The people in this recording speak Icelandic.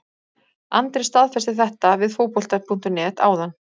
Andri staðfesti þetta við Fótbolta.net áðan.